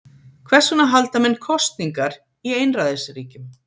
hvers vegna halda menn „kosningar“ í einræðisríkjum